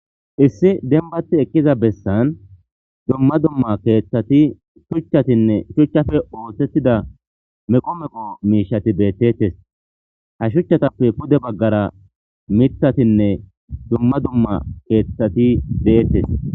issi denbati ekkiza bessan dumma dumma keeththati shuchchatinne shuchchafe ooththettida meqomeqo miishati beettettes ha shuchchatappe pude baggara mithatinne dumma dumma keeththati deettes